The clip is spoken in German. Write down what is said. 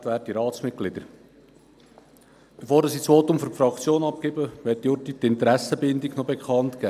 Bevor ich das Votum für die Fraktion abgebe, möchte ich kurz meine Interessenbindung bekannt geben.